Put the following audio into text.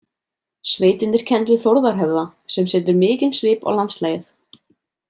Sveitin er kennd við Þórðarhöfða, sem setur mikinn svip á landslagið.